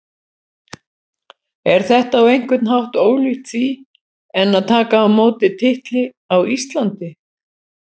Er þetta á einhvern hátt ólíkt því en að taka á móti titli á Íslandi?